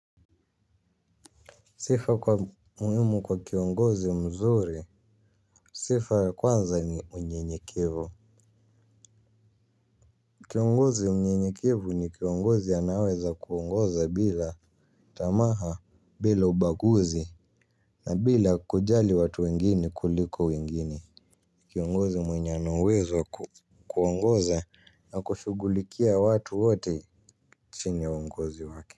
Sifa muhimu kwa kiongozi mzuri; sifa ya kwanza, ni unyenyekevu. Kiongozi mnyenyekevu ni kiongozi anayeweza kuongoza bila tamaa bila ubaguzi na bila kujali watu wengine kuliko wengine. Kiongozi mwenye ana uwezo wa kuongoza na kushughulikia watu wote chini ya uongozi wake.